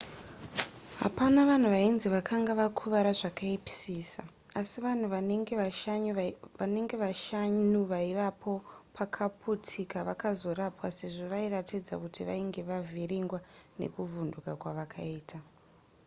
hapana vanhu vainzi vakanga vakuvara zvakaipisisa asi vanhu vanenge vashanu vaivapo pakwakaputika vakazorapwa sezvo vairatidza kuti vainge vavhiringwa nekuvhunduka kwavakaita